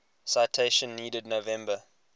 citation needed november